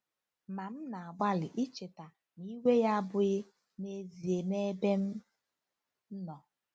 Ma m na-agbalị icheta na iwe ya abụghị n'ezie n'ebe m nọ.